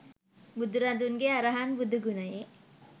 බුදුරදුන්ගේ අරහං බුදු ගුණයේ